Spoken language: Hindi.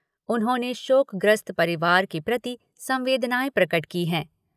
उन्होंने शोकग्रस्त परिवार के प्रति संवेदनाए प्रकट की हैं।